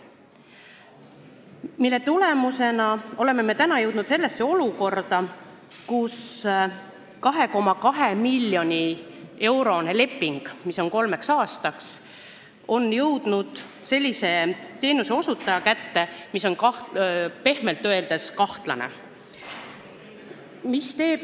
Selle tulemusena oleme jõudnud olukorda, kus kolmeaastane 2,2 miljoni eurone leping on läinud sellise teenuseosutaja kätte, kes on pehmelt öeldes kahtlane.